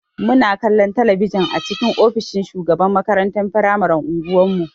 Muna kallon talabijin a cikin ofishin shugaban makarantar firamaren unguwan mu.